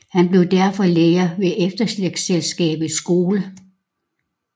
Han blev derfor lærer ved Efterslægtselskabets Skole